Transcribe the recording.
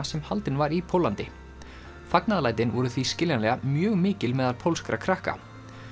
sem haldin var í Póllandi fagnaðarlætin voru því skiljanlega mjög mikil meðal pólskra krakka